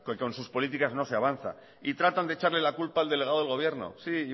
que con sus políticas no se avanza y tratan de echarle la culpa al delegado del gobierno sí y